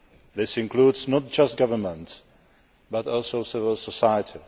This includes not just governments, but also civil society.